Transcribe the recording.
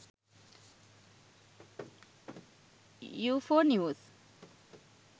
ufo news